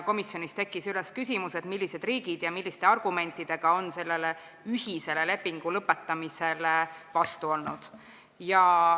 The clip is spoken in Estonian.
Komisjonis tekkis küsimus, millised riigid ja milliste argumentidega on sellele ühisele lepingu lõpetamisele vastu olnud.